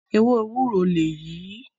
Ewé Ewúró lèyí ìí.